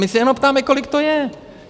My se jenom ptáme, kolik to je.